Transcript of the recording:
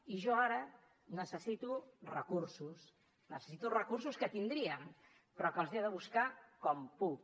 i jo ara necessito recursos necessito recursos que tindríem però que els he de buscar com puc